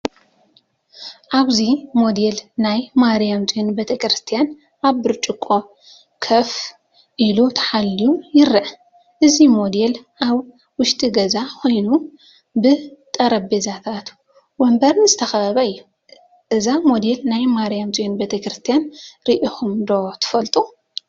ኣብዚ ሞዴል ናይ “ማርያም ጽዮን ቤተክርስትያን” ኣብ ብርጭቆ ኮፍ ኢሉ ተሓልዩ ይርአ። እዚ ሞዴል ኣብ ውሽጢ ገዛ ኮይኑ፡ ብጠረጴዛታትን መንበርን ዝተኸበበ እዩ። እዛ ሞዴል ናይ ማርያም ጽዮን ቤተ ክርስቲያን ርኢኹም ትፈልጡ ዶ?